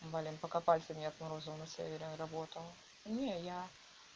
блин пока пальцы не отморозил на севере работал не я